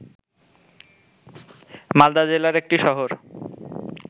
মালদা জেলার একটি শহর